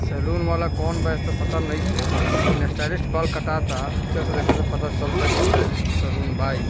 Salon वाला कोन बा इस से पता नहीं छे लेकिन स्टाइलिश बाल कटाता अच्छे से देखे जब पता चलता के स्टाइलिश सलून बा ई।